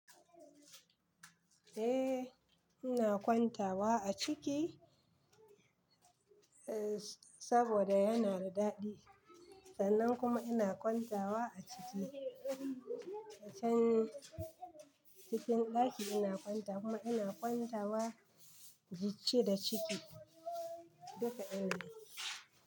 Eh ina kwantawa a ciki saboda yana da daɗi. Sannan kuma ina kwantawa a ciki a can cikin ɗaki ina kwanta kuma ina kwantawa ince da ciki duka ɗin ne.